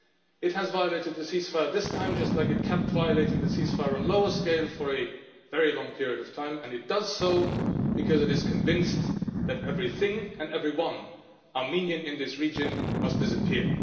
It has violated the ceasefire this time just like it kept violating the ceasefire on a lower scale for a very long period of time, and it does so because it is convinced that everything and everyone Armenian in this region must disappear.